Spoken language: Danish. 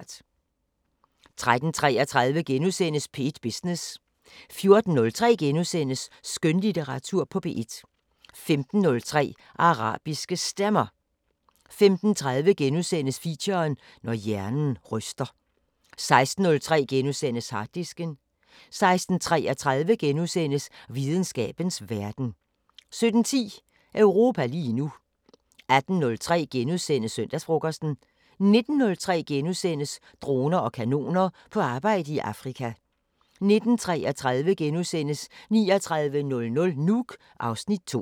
13:33: P1 Business * 14:03: Skønlitteratur på P1 * 15:03: Arabiske Stemmer 15:30: Feature: Når hjernen ryster * 16:03: Harddisken * 16:33: Videnskabens Verden * 17:10: Europa lige nu 18:03: Søndagsfrokosten * 19:03: Droner og kanoner : På arbejde i Afrika * 19:33: 3900 Nuuk (Afs. 2)*